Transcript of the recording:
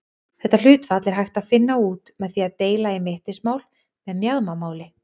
Þetta hlutfall er hægt að finna út með því að deila í mittismál með mjaðmamáli.